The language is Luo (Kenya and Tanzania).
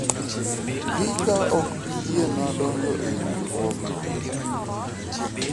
hika ok bii yiena donjo e riwruogno